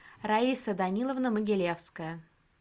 раиса даниловна могилевская